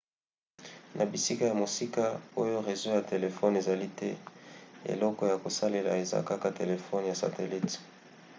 na bisika ya mosika oyo rezo ya telefone ezali te eloko ya kosalela eza kaka telefone ya satelite